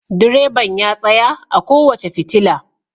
Direban ya tsaya a kowace fitila.